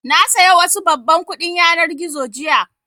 Na saya wasu babban kuɗin yanar gizo jiya